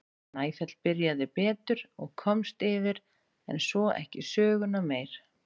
Snæfell byrjaði betur og komst yfir en svo ekki söguna meir.